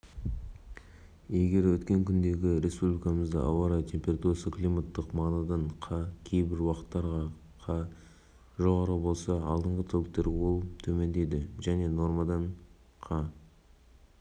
мен көктайғақ орын алып қолайсыз ауа райы сақталады бұл туралы желтоқсан аралығына арналған ауа райы